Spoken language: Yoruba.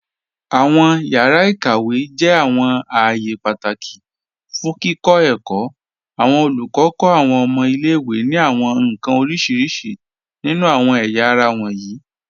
Awọn yàra ikàwé jẹ́ awọn ààyè pátákì fún kíkọ èkó. Awọn olùkọ kọ awọn ọ̀mọ̀ ilẹ̀-ìwé ni awọn nkan orísíríṣí nínu awọn ẹ̀yàra wọnyí.